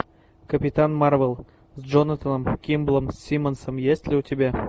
капитан марвел с джонатаном кимблом симмонсом есть ли у тебя